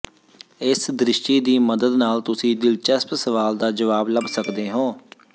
ਇਸ ਦ੍ਰਿਸ਼ਟੀ ਦੀ ਮਦਦ ਨਾਲ ਤੁਸੀਂ ਦਿਲਚਸਪ ਸਵਾਲ ਦਾ ਜਵਾਬ ਲੱਭ ਸਕਦੇ ਹੋ